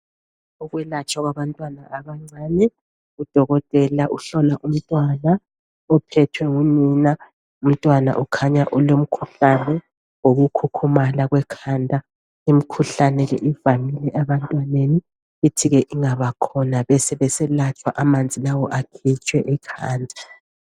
Ukwelatshwa kwabantwana abancane .Udokotela uhlola umntwana uphethwe ngunina. Umntwana ukhanya ulomkhuhlane woku khukhumala kwekhanda .Imkhuhlane le ivamile ebantwaneni .Ithike ingaba khona besebeselatshwa amanzi lawa akhitshwe ekhanda .